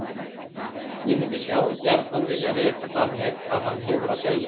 Ég mundi sjálf gjarnan vilja vita hvað hann hefur að segja.